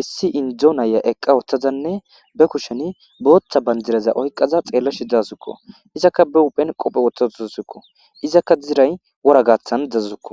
hissi indzo naya eqqa wooththazanne be kushen booththa banjiraza oyqaza xeella shi dasukko izakka be wuphen qophe wothazozazsukko izakka diray wora gaaththan dazukko